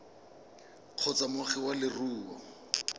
kgotsa moagi wa leruri o